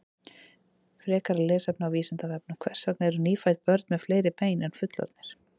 Frekara lesefni á Vísindavefnum: Hvers vegna eru nýfædd börn með fleiri bein en fullorðnir?